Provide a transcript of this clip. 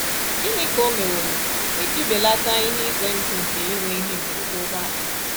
Gịnị ka o meworo iji belata ihe ize ndụ nke inwe ihe mberede ụgbọala?